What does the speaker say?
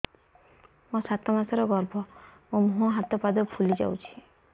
ମୋ ସାତ ମାସର ଗର୍ଭ ମୋ ମୁହଁ ହାତ ପାଦ ଫୁଲି ଯାଉଛି